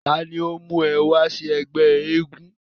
ta ni ó mún un wá sí ẹgbẹ́ eégún?